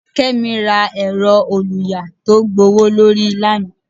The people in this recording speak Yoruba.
kemi ra erò-olùyà to gbówólorí lana